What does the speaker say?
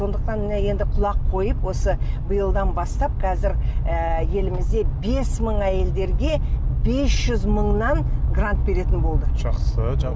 сондықтан міне енді құлақ қойып осы биылдан бастап қазір ыыы елімізде бес мың әйелдерге бес жүз мыңнан грант беретін болды жақсы